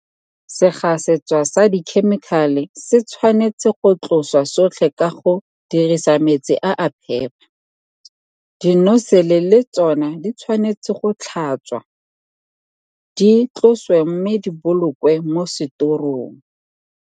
Segasetswa sa dikhemikale se tshwanetse go tloswa sotlhe ka go dirisa metsi a a phepa, dinosele le tsona di tshwanetse go tlhatswa, di tloswe mme di bolokwe mo setorong.